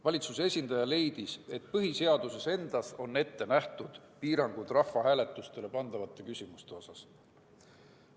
Valitsuse esindaja leidis, et põhiseaduses endas on ette nähtud piirangud rahvahääletusele pandavate küsimuste osas.